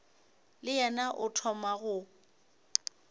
le yena o thoma go